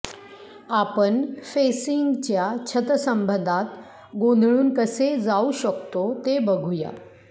आपण फेसिंगच्या छतसंबंधात गोंधळून कसे जाऊ शकतो ते बघूया